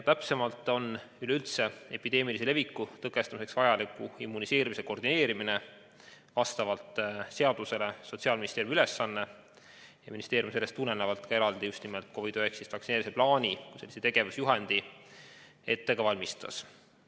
Viiruse üleüldse epideemilise leviku tõkestamiseks vajaliku immuniseerimise koordineerimine on vastavalt seadusele Sotsiaalministeeriumi ülesanne ning sellest tulenevalt ministeerium COVID-19 vaktsineerimise plaani kui tegevusjuhendi ka ette valmistas.